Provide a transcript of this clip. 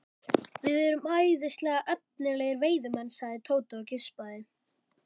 Við erum æðislega efnilegir veiðimenn sagði Tóti og geispaði.